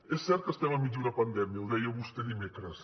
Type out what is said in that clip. és cert que estem enmig d’una pandèmia ho deia vostè dimecres